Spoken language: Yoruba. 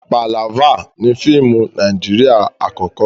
Pàlávà ni fíìmù Nàíjírìà àkọ́kọ́.